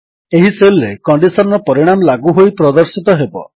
ଏହି ସେଲ୍ ରେ କଣ୍ଡିଶନ୍ ର ପରିଣାମ ଲାଗୁ ହୋଇ ପ୍ରଦର୍ଶିତ ହେବ